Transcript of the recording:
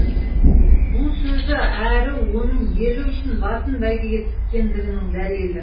бұл сөзі әрі оның елі үшін басын бәйгеге тіккендігінің дәлелі